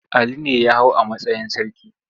Ali ne ya hau a matsayin sarki.